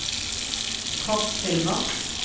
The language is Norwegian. kortfilmer